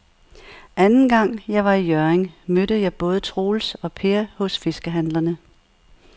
Anden gang jeg var i Hjørring, mødte jeg både Troels og Per hos fiskehandlerne.